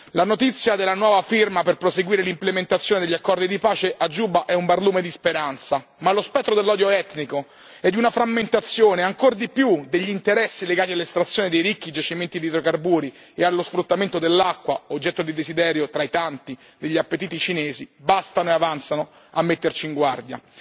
La notizia della nuova firma per proseguire l'implementazione degli accordi di pace a Giuba è un barlume di speranza, ma lo spettro dell'odio etnico e di una frammentazione ancora maggiore degli interessi legati all'estrazione dei ricchi giacimenti di idrocarburi e allo sfruttamento dell'acqua, oggetto del desiderio tra i tanti degli appetiti cinesi, bastano e avanzano a metterci in guardia.